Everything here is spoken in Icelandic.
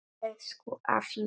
Elsku afi minn.